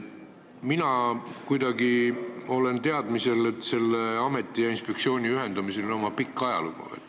Minul on kuidagi teadmine, et selle ameti ja inspektsiooni ühendamisel on oma pikk ajalugu.